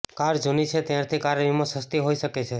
car જૂની છે ત્યારથી કાર વીમો સસ્તી હોઇ શકે છે